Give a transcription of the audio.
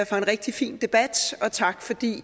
for en rigtig fin debat og tak fordi